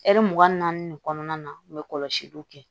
ɛri mugan ni naani de kɔnɔna na u bɛ kɔlɔsiliw kɛ